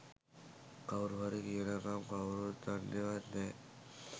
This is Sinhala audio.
කවුරුහරි කියනකම් කවුරුත් දන්නෙවත් නෑ.